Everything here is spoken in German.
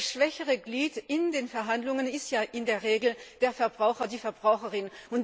Das schwächere Glied in den Verhandlungen ist ja in der Regel der Verbraucher, die Verbraucherin.